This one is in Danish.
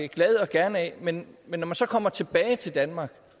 glad og gerne af men men når man så kommer tilbage til danmark